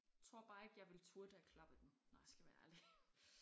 Tror bare ikke jeg ville turde at klappe den når jeg skal være ærlig